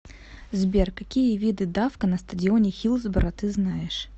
сбер какие виды давка на стадионе хиллсборо ты знаешь